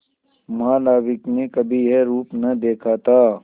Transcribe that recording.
महानाविक ने कभी यह रूप न देखा था